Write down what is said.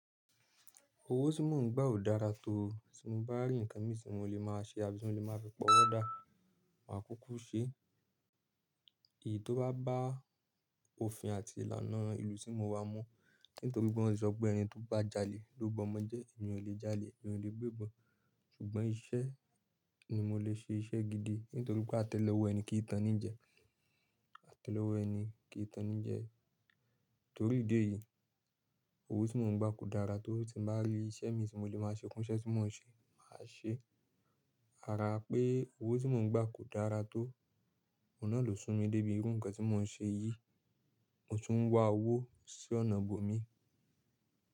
Owó tí mò ń gbà ò dára tó tí mo bá rí nǹkan mi tí mo lè máa ṣe àbí tí mo lè máa fi ọwọ́ dà máa kúkú ṣe. Èyí tó bá bá òfin àti ìlànà ìlú tí mo wà mọ̀. Nítorípe wan ti sọpe ẹni tó bá jalè ló bọmọjẹ́, èmi ò lè jalè, èmi ò lè gbé bọn. Ṣùgbọ́n iṣẹ́ ni mo lè ṣe iṣẹ́ gidi nítorí pé a tẹ̀lé ọwọ́ ẹni kì í tan ni jẹ, a tẹ̀lé ọwọ́ ẹni kì í tan ni jẹ. Nítorí ìdí èyí, owó tí mò ń gbà kò dára tó tí n bá rí iṣẹ́ mi tí mo lè máa ṣe, kún iṣẹ́ tí mò ń ṣe máa ṣe. Ará pé owó tí mò ń gbà kò dára tó, oun nà ló sún mi débi irú nǹkan tí mò ń ṣe yìí, mo tún ń wá owó sí ọ̀nà bòmí.